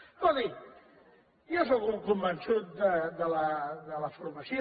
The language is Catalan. escolti jo sóc un convençut de la formació